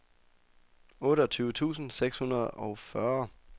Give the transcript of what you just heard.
otteogtyve tusind seks hundrede og fyrre